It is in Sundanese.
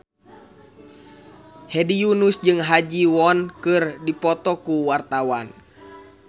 Hedi Yunus jeung Ha Ji Won keur dipoto ku wartawan